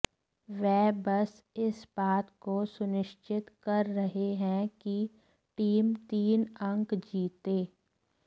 वह बस इस बात को सुनिश्चित कर रहे हैं कि टीम तीन अंक जीते